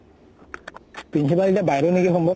principal এতিয়া বাইদেউ নেকি সম্ভব।